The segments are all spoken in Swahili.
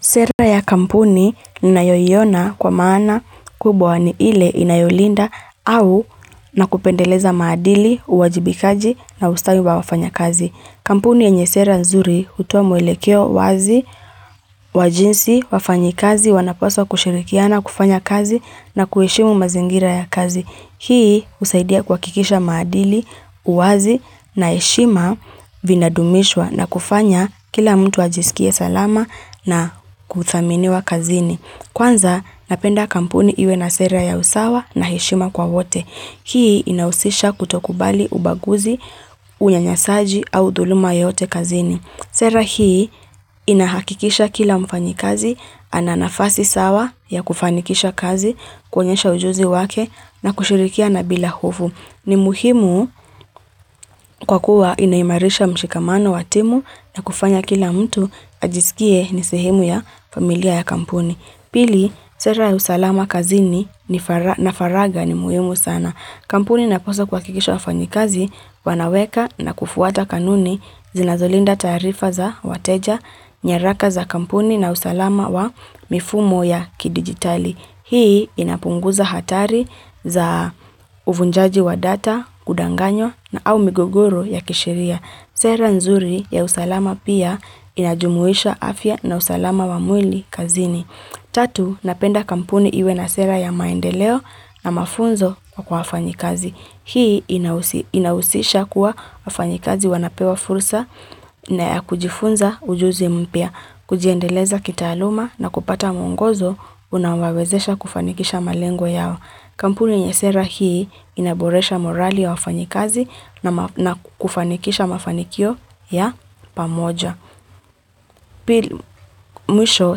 Sera ya kampuni ni nayoyiona kwa maana kubwa ni ile inayolinda au na kupendeleza maadili, uwajibikaji na ustawi wa wafanya kazi. Kampuni ya nye sera nzuri utuwa mwelekeo wazi, wajinsi, wafanyi kazi, wanaposwa kushirikiana, kufanya kazi na kuhishimu mazingira ya kazi. Hii usaidia kwa kikisha madili, uwazi na heshima vina dumishwa na kufanya kila mtu ajisikie salama na kuthaminiwa kazini. Kwanza napenda kampuni iwe na sera ya usawa na heshima kwa wote. Hii inausisha kutokubali ubaguzi, unyanyasaji au dhuluma yote kazini. Sera hii inahakikisha kila mfanyikazi, ananafasi sawa ya kufanikisha kazi, kwenyesha ujuzi wake na kushirikia na bila hofu. Ni muhimu kwa kuwa inaimarisha mshikamano wa timu na kufanya kila mtu ajisikie nisehimu ya familia ya kampuni. Pili, sera ya usalama kazini na faraga ni muyumu sana. Kampuni na posa hakikisha wa fanyikazi, wanaweka na kufuata kanuni zinazolinda tarifa za wateja, nyeraka za kampuni na usalama wa mifumo ya kidigitali. Hii inapunguza hatari za uvunjaji wa data, kudanganyo na au migogoro ya kishiria. Sera nzuri ya usalama pia inajumuisha afya na usalama wamwili kazini. Tatu, napenda kampuni iwe na sera ya maendeleo na mafunzo kwa hafanyikazi. Hii inausisha kuwa hafanyikazi wanapewa fursa na kujifunza ujuzi mpia. Kujiendeleza kitayaluma na kupata mwongozo unawawezesha kufanikisha malengwa yao. Kampuni nyesera hii inaboresha morali ya wafanyikazi na kufanikisha mafanikio ya pamoja. Pili mwisho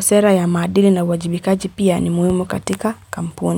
sera ya madili na wajibikaji pia ni muhimu katika kampuni.